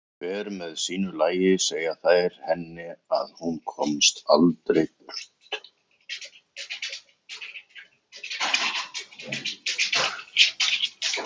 Hver með sínu lagi segja þær henni að hún komist aldrei burt.